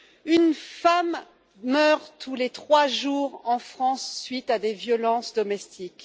Une femme meurt tous les trois jours en France, suite à des violences domestiques.